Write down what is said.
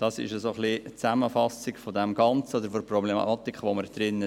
Dies ist in etwa die Zusammenfassung des Ganzen oder der Problematik, in der wir uns befinden.